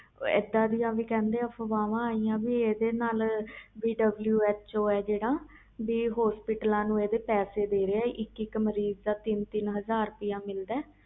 ਇਹਦਾ ਦੀਆ ਵੀ ਅਹਫ਼ਵਾਵ ਆਇਆ ਕਿ WHO ਇਸ ਦਾ ਹਸਪਤਾਲ ਵਾਲਿਆਂ ਨੂੰ ਪੈਸੇ ਦੇ ਰਹੇ ਆ ਇਕ ਮਰੀਜ਼ ਦਾ ਤਿੰਨ ਹਾਜ਼ਰ